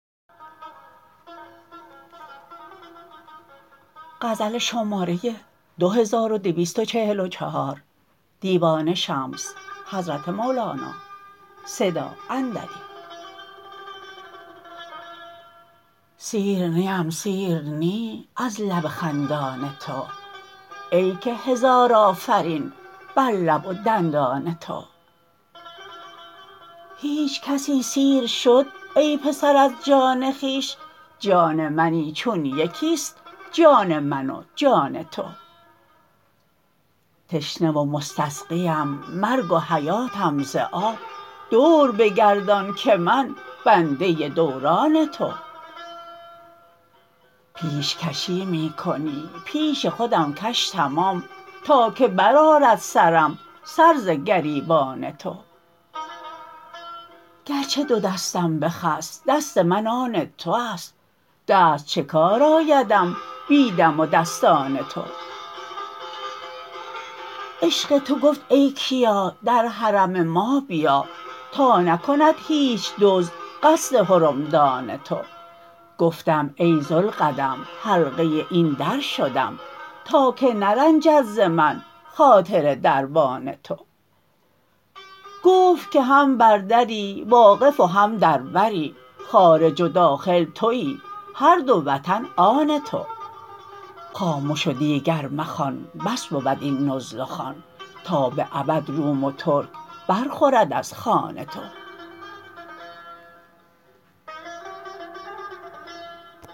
سیر نیم سیر نی از لب خندان تو ای که هزار آفرین بر لب و دندان تو هیچ کسی سیر شد ای پسر از جان خویش جان منی چون یکی است جان من و جان تو تشنه و مستسقیم مرگ و حیاتم ز آب دور بگردان که من بنده دوران تو پیش کشی می کنی پیش خودم کش تمام تا که برآرد سرم سر ز گریبان تو گرچه دو دستم بخست دست من آن تو است دست چه کار آیدم بی دم و دستان تو عشق تو گفت ای کیا در حرم ما بیا تا نکند هیچ دزد قصد حرمدان تو گفتم ای ذوالقدم حلقه این در شدم تا که نرنجد ز من خاطر دربان تو گفت که هم بر دری واقف و هم در بری خارج و داخل توی هر دو وطن آن تو خامش و دیگر مخوان بس بود این نزل و خوان تا به ابد روم و ترک برخورد از خوان تو